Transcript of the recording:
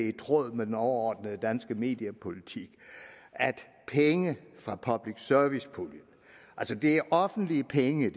i tråd med den overordnede danske mediepolitik at penge fra public service puljen det er offentlige penge